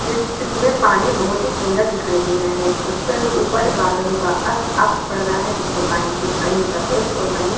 जिस जिसमें पानी बहोत ही सुंदर दिखाई दे रहा है उस पर ऊपर बादलों का अस अक्ष पड़ रहा है जिससे पानी कुछ कहीं सफ़ेद और कहीं --